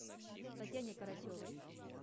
татьяне карасевой